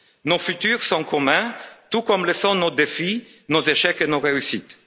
Nos futurs sont communs, tout comme le sont nos défis, nos échecs, nos réussites.